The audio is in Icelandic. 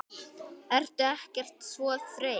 Ertu ekkert svo þreytt?